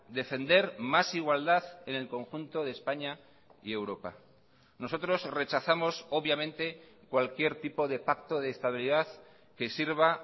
defender más igualdad en el conjunto de españa y europa nosotros rechazamos obviamente cualquier tipo de pacto de estabilidad que sirva